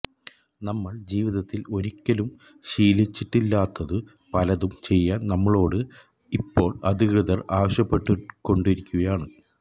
നമ്മൾ ജീവിതത്തിൽ ഒരിക്കലും ശീലിച്ചിട്ടില്ലാത്തതു പലതും ചെയ്യാൻ നമ്മളോട് ഇപ്പോൾ അധികൃതർ ആവശ്യപ്പെട്ടുകൊണ്ടിരിക്കുകയാണ്